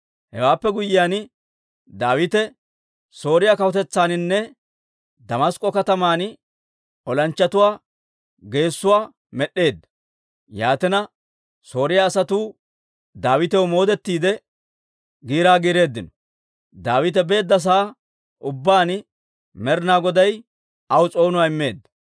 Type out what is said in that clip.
Hewaappe guyyiyaan, Daawite Sooriyaa kawutetsaaninne Damask'k'o kataman olanchchatuwaa geessuwaa med'd'eedda. Yaatina Sooriyaa asatuu Daawitaw moodetiide, giiraa giireeddino. Daawite beedda sa'aa ubbaan Med'inaa Goday aw s'oonuwaa immeedda.